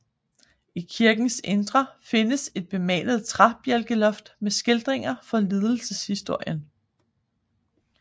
I kirkens indre findes et bemalet træbjælkeloft med skildringer fra lidelseshistorien